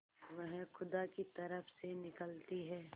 वह खुदा की तरफ से निकलती है